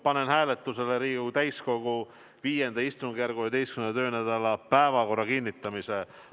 Panen hääletusele Riigikogu täiskogu V istungjärgu 11. töönädala päevakorra kinnitamise.